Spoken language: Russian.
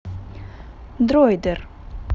дроидер